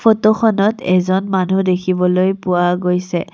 Photo খনত এজন মানুহ দেখিবলৈ পোৱা গৈছে।